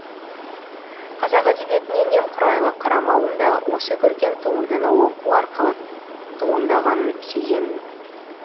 қазақ әдебиетіне немқұрайлы қарамауым да осы көркем туындыны оқу арқылы туындағанын сеземін